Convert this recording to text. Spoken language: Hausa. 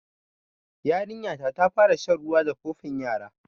Yarinya ta fara shan ruwa da kofin yara